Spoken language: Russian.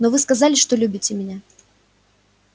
но вы сказали что любите меня